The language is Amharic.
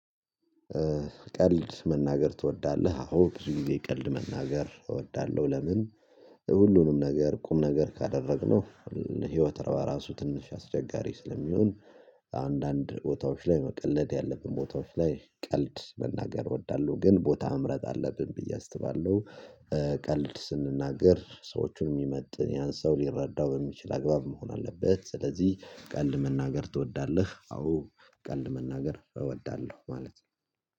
ቀልድ መናገር ትወዳለህ? አሁን ብዙ ጊዜ ቀልድ መናገር እወዳለሁ ለምን ሁሉንም ነገር ቁም ነገር ካደረግነው ህይወት ራሱ ትንሽ አስቸጋሪ ስለሚሆን። አንዳንድ ቦታዎች ላይ መቀለድ ያለብን ቦታዎች ላይ ቀልድ መናገር እወዳለሁ ግን ቦታ መምረጥ አለብን ብዬ አስባለሁ። ቀልድ ስንናገር ሰዎቹን የሚመጥን ያን ሰው ሊረዳው በሚችል አግባብ መሆን አለበት። ስለዚህ ቀልድ መናገር ትወዳለህ? አዎ ቀልድ መናገር እወዳለሁ ማለት ነው